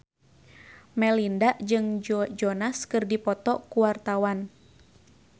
Melinda jeung Joe Jonas keur dipoto ku wartawan